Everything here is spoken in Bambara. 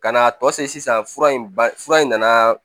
Ka n'a tɔ se sisan fura in ba fura in nana